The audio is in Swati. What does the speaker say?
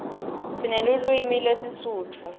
sinelulwimi lesisutfu